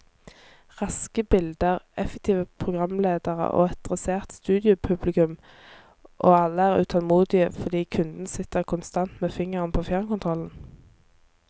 Raske bilder, effektive programledere og et dressert studiopublikum, og alle er utålmodige fordi kunden sitter konstant med fingeren på fjernkontrollen.